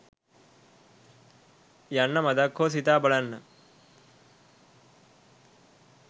යන්න මදක් හෝ සිතා බලන්න.